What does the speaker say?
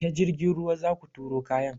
Ta jirgin ruwa zaku turo kayan.